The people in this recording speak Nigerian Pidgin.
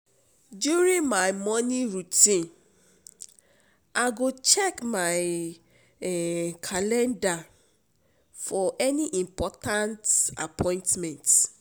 During my morning routine, I go check my calendar for any important appointments.